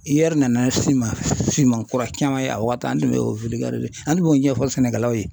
IER nana si kura caman ye a waati an tun bɛ o an b'o ɲɛfɔ sɛnɛkɛlaw ye